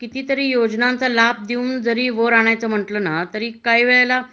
किती तरी योजनाचा लाभ देऊन वरती आणायचं म्हटल ना तरी काही वेळेला